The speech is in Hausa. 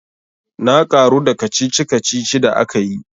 Na karu da kacici kacici da akayi.